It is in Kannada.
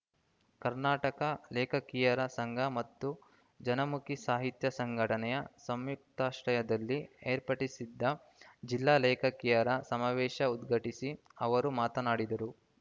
ಕರ್ನಾಟಕ ಲೇಖಕಿಯರ ಸಂಘ ಮತ್ತು ಜನಮುಖಿ ಸಾಹಿತ್ಯ ಸಂಘಟನೆ ಸಂಯುಕ್ತಾಶ್ರಯದಲ್ಲಿ ಏರ್ಪಡಿಸಿದ್ದ ಜಿಲ್ಲಾ ಲೇಖಕಿಯರ ಸಮಾವೇಶ ಉದ್ಘಾಟಿಸಿ ಅವರು ಮಾತನಾಡಿದರು